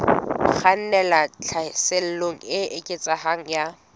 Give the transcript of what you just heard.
kgannelang tlhaselong e eketsehang ya